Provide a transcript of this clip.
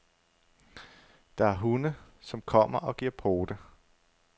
Der er hunde, som kommer og giver pote.